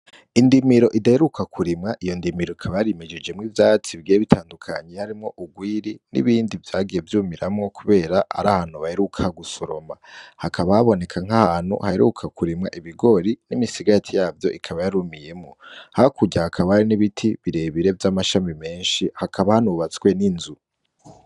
Indimiro idaheruka kurimwa; iyo ndimiro ikaba yarimejejewo ivyatsi bigiye bitandukanye harimwo ugwiri n'ibindi vyagiye vyumiramwo kubera ari ahantu baheruka gusoroma. Hakaba haboneka nk'ahantu haheruka kurimwa ibigori n'imisigati yavyo ikaba yarumiyemwo, hakurya hakaba hari n'ibiti birebire vy'amashami menshi hakaba hanubatswe n'inzu.